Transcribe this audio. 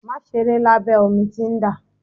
Má ṣeré labẹ omi tí ń dà.